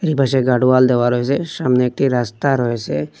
যে পাশে গাডোয়াল দেওয়া রয়েসে সামনে একটি রাস্তা রয়েসে।